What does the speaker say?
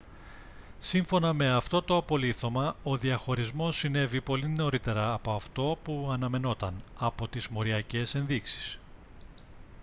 σύμφωνα με αυτό το απολίθωμα ο διαχωρισμός συνέβη πολύ νωρίτερα από αυτό που αναμενόταν από τις μοριακές ενδείξεις